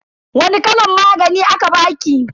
Wani kalan magani aka baki?